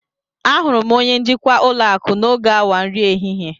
Ahụrụ m onye njikwa ulo aku n'oge awa nri ehihie